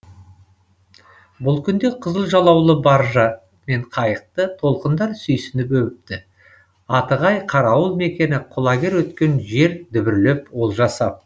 бұл күнде қызыл жалаулы баржа мен қайықты толқындар сүйсініп өбіпті атығай қарауыл мекені құлагер өткен жер дүбірлеп олжа сап